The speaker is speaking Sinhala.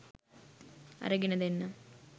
අරගෙන දෙන්නම්.